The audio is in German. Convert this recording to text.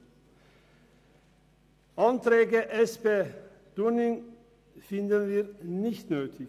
Die Anträge Dunning der SP-JUSO-PSA-Fraktion finden wir nicht nötig.